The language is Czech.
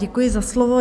Děkuji za slovo.